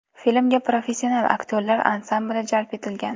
Filmga professional aktyorlar ansambli jalb etilgan.